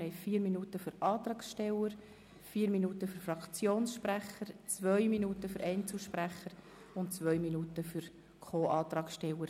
Wir haben vier Minuten für Antragsteller, vier Minuten für Fraktionssprecher, zwei Minuten für Einzelsprecher und zwei Minuten für zweite Voten von Co-Antragstellern.